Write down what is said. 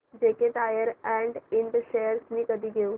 JK Tyre and इंड shares मी कधी घेऊ